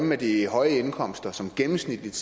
med de høje indkomster som gennemsnitligt